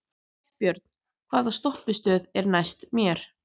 Hallbjörn, hvaða stoppistöð er næst mér?